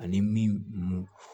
Ani min